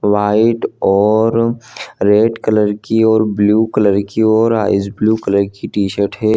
White और red colour की और ब्लू कलर की और आइस ब्लू कलर की टशीट हैं।